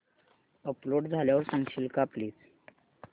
upload झाल्यावर सांगशील का प्लीज